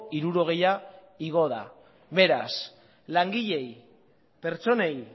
hirurogeia igo da beraz langileei pertsonei